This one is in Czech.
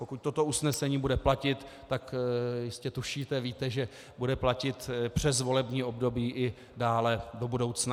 Pokud toto usnesení bude platit, tak jistě tušíte, víte, že bude platit přes volební období i dále do budoucna.